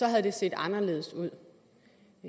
havde det set anderledes ud